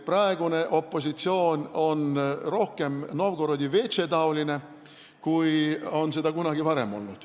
Praegune opositsioon on rohkem Novgorodi veetše taoline, kui opositsioon on seda kunagi varem olnud.